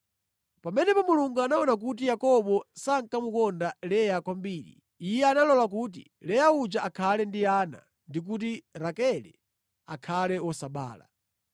Pamene Mulungu anaona kuti Yakobo sankamukonda Leya kwambiri, Iye analola kuti Leya uja akhale ndi ana, ndi kuti Rakele akhale wosabala.